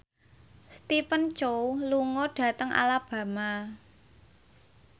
Stephen Chow lunga dhateng Alabama